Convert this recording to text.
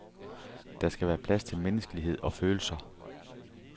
Der skal være plads til menneskelighed og følelser.